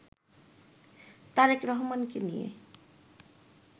তারেক রহমানকে নিয়ে